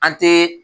An te